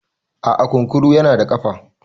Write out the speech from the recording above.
a'a kunkuru yana da kafa